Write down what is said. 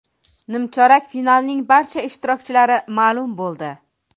Nimchorak finalning barcha ishtirokchilari ma’lum bo‘ldi.